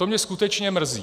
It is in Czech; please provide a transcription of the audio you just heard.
To mě skutečně mrzí.